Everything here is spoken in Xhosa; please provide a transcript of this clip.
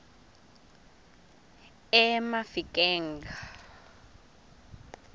emafikeng